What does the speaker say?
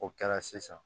O kɛra sisan